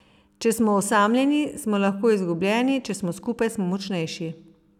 Če smo osamljeni, smo lahko izgubljeni, če smo skupaj, smo močnejši.